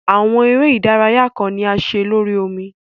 Awọn ere idaraya kan ni a ṣe lori omi